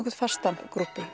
fasta grúppu